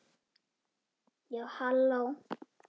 Já, halló!